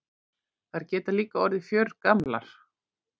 Þær geta líka orðið fjörgamlar.